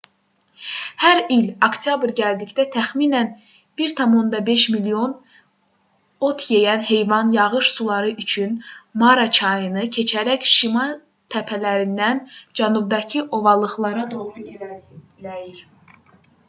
hər il oktyabr gəldikdə təxminən 1,5 milyon ot yeyən heyvan yağış suları üçün mara çayını keçərək şimal təpələrindən cənubdakı ovalıqlara doğru irəliləyir